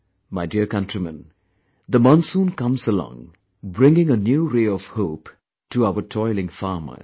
My dear countrymen, the monsoon comes along, bringing a new ray of hope to our toiling farmers